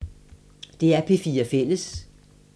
DR P4 Fælles